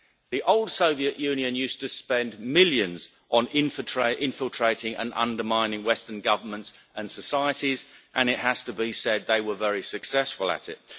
The old Soviet Union used to spend millions on infiltrating and undermining Western governments and societies, and it has to be said they were very successful at it.